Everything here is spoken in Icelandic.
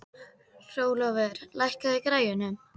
Hrólfur, lækkaðu í græjunum.